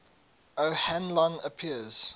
o hanlon appears